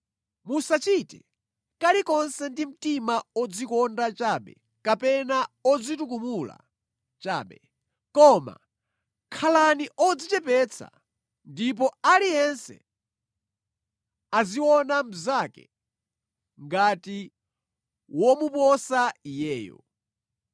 Musachite kalikonse ndi mtima odzikonda chabe kapena odzitukumula chabe. Koma khalani odzichepetsa ndipo aliyense aziona mnzake ngati womuposa iyeyo.